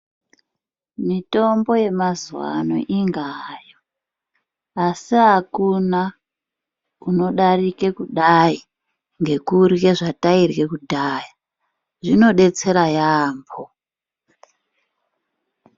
Mitombo yemazuvaano ingahayo asi akuna kunodarika kudai ngekuhya zvataihya kudhaya zvinodetsera yambo.